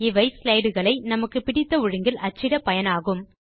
இவை slideகளை நமக்கு பிடித்த ஒழுங்கில் அச்சிட பயனாகும்